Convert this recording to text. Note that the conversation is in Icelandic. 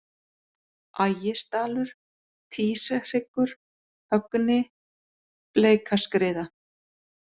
Ægisdalur, Týshryggur, Högni, Bleikaskriða